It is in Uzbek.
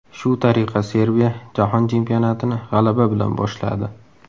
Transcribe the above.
Shu tariqa Serbiya Jahon Chempionatini g‘alaba bilan boshladi.